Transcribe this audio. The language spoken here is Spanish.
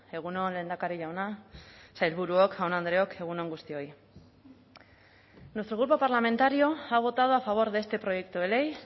egun on lehendakari jauna sailburuok jaun andreok egun on guztioi nuestro grupo parlamentario ha votado a favor de este proyecto de ley